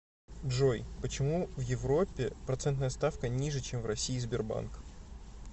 джой почему в европе процентная ставка ниже чем в россии сбербанк